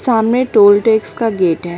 सामने toll tax का gate है।